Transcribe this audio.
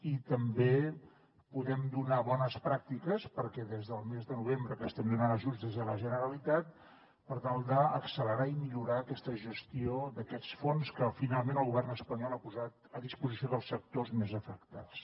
i també podem donar bones pràctiques perquè des del mes de novembre que estem donant ajuts des de la generalitat per tal d’accelerar i millorar aquesta gestió d’aquests fons que finalment el govern espanyol ha posat a disposició dels sectors més afectats